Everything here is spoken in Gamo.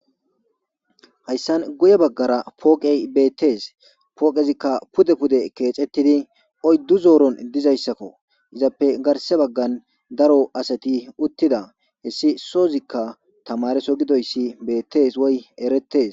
Hayssan guye baggara pooqey beettees pooqezikka pude pude keexettidi oyddu zooron dizayssakko izappe garse baggan daro asati uttida hessi soozikka tamareso gidoyssi beettees woy erettes.